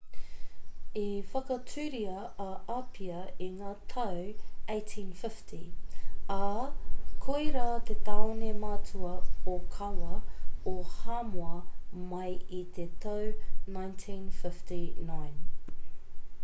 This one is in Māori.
i whakatūria a apia i ngā tau 1850 ā koirā te tāone matua ōkawa o hāmoa mai i te tau 1959